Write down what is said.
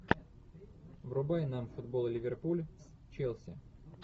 врубай нам футбол ливерпуль с челси